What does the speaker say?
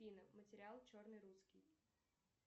афина материал черный русский